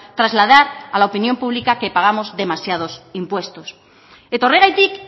trasladar a la opinión pública que pagamos demasiados impuestos eta horregatik